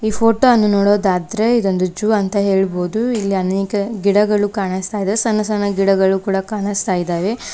Photo ಅನ್ನು ನೋಡೋದಾದ್ರೆ ಇದೊಂದು ಝೂ ಅಂತ ಹೇಳಬಹುದೂ ಇಲ್ಲಿ ಅನೇಕ ಗಿಡಗಳು ಕಾಣಸ್ತಾ ಇದಾವೆ ಸಣ್ಣ ಸಣ್ಣ ಗಿಡಗಳು ಕೂಡ ಕಾಣಸ್ತಾ ಇದಾವೆ.